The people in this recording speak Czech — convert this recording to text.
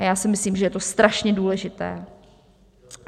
A já si myslím, že je to strašně důležité.